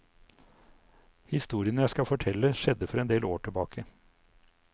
Historien jeg skal fortelle skjedde for en del år tilbake.